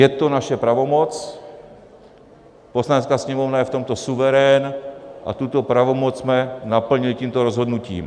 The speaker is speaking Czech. Je to naše pravomoc, Poslanecká sněmovna je v tomto suverén a tuto pravomoc jsme naplnili tímto rozhodnutím.